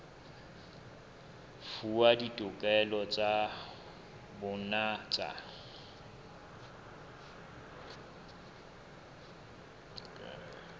fuwa ditokelo tsa bona tsa